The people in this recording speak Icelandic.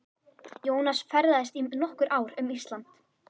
Jónas ferðaðist í nokkur ár um Ísland.